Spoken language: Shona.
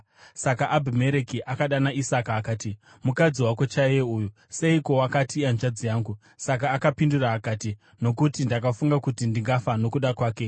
Saka Abhimereki akadana Isaka akati, “Mukadzi wako chaiye uyu! Seiko wakati, ‘Ihanzvadzi yangu’?” Isaka akapindura akati, “Nokuti ndakafunga kuti ndingafa nokuda kwake.”